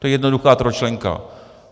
To je jednoduchá trojčlenka.